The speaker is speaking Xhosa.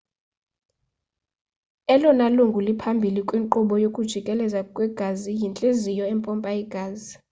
elona lungu liphambili kwinkqubo yokujikeleza kwegazi yintliziyo empompa igazi